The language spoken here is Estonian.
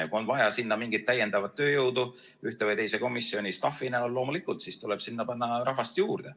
Ja kui on vaja mingit täiendavat tööjõudu ühte või teise komisjoni staff'i näol, siis loomulikult tuleb sinna panna rahvast juurde.